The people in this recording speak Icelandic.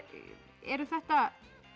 eru þetta